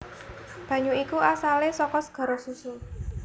Banyu iku asalé saka segara susu